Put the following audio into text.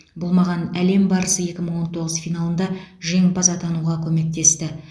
бұл маған әлем барысы екі мың он тоғыз финалында жеңімпаз атануға көмектесті